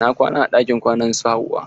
Na kwana a ɗakin kwanan su Hauwa.